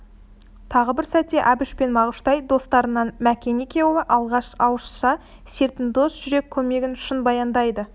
тағы бір сәтте әбіш пен мағыштай достарынан мәкен екеуі алған ауызша сертін дос жүрек көмегін шын баяндайды